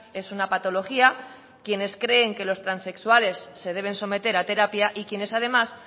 es una patología quienes creen que los transexuales se deben someter a terapia y quienes además